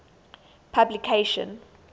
publication